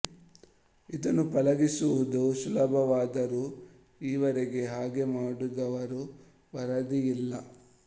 ಇದನ್ನು ಪಳಗಿಸುವುದು ಸುಲಭವಾದರೂ ಈವರೆಗೆ ಹಾಗೆ ಮಾಡಿದುವರ ವರದಿ ಇಲ್ಲ